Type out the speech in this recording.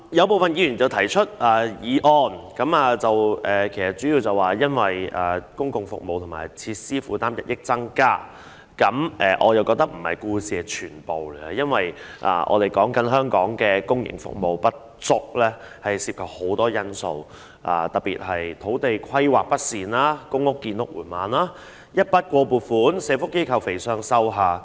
部分議員提出議案的主要目的，是因為公共服務和設施的負擔日益增加，但我認為這並非故事的全部，因為香港公營服務不足涉及很多因素，特別是土地規劃不善、公屋建屋進度緩慢、一筆過撥款令社福機構"肥上瘦下"。